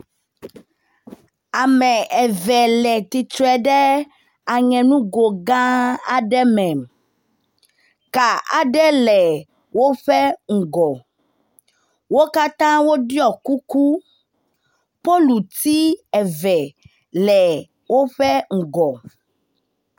Ame eve le tsitre ɖe aŋe nugo gã aɖe me, ka aɖe le woƒe ŋgɔ, wo katã woɖɔ kuku, poluti eve le woƒe ŋgɔ.